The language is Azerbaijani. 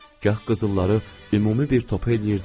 Gah qızılları ümumi bir topa eləyirdim.